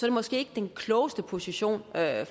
det måske ikke den klogeste position at